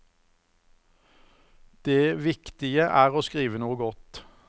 Det viktige er å skrive noe godt.